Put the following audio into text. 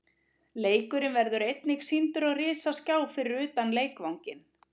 Leikurinn verður einnig sýndur á risaskjá fyrir utan leikvanginn.